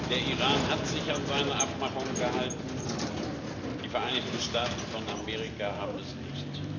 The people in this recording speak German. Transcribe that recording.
Der Iran hat sich an seine Abmachungen gehalten, die Vereinigten Staaten von Amerika haben es nicht.